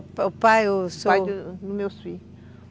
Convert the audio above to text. O pai, o seu... O pai do meu filho.